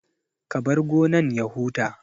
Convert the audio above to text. Ka bar gonan ya huta